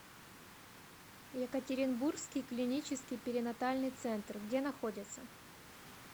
екатеринбургский клинический перинатальный центр где находится